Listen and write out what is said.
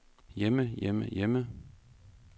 hjemme hjemme hjemme